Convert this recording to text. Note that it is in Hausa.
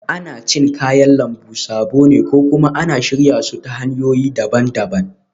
Ana cin kayan lambu sabo ne ko kuma ana shirya su ta hanyoyi daban-daban